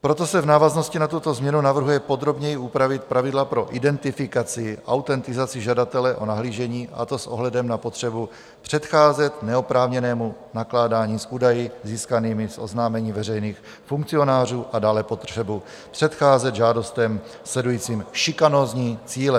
Proto se v návaznosti na tuto změnu navrhuje podrobněji upravit pravidla pro identifikaci, autentizaci žadatele o nahlížení, a to s ohledem na potřebu předcházet neoprávněnému nakládání s údaji získanými z oznámení veřejných funkcionářů, a dále potřebu předcházet žádostem sledujícím šikanózní cíle.